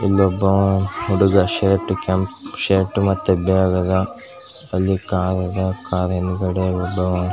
ಇಲ್ಲೊಬ್ಬವ್ ಹುಡುಗ ಶರ್ಟ್ ಹಾಕೊಂಡ್ ಶರ್ಟ್ ಮತ್ತೆ ಬ್ಯಾಗ್ ಅದ್ ಅಲ್ಲಿ ಕಾರ್ ಅದ್ ಕಾರ್ ಹಿಂದಗಡೆ ಒಬ್ಬವ್--